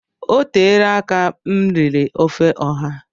Oteela aka m riri ofe ọha